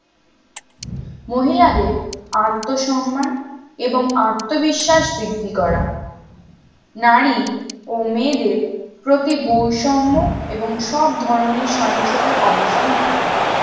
মহিলাদের আত্মসম্মান এবং আত্মবিশ্বাস বৃদ্ধি করা নারী ও মেয়েদের প্রতি বৈষম্যএবং সব ধরণের সংশয়তারঅবসান ঘটান